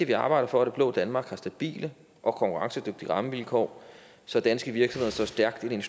vi arbejder for at det blå danmark har stabile og konkurrencedygtige rammevilkår så danske virksomheder står stærkt i den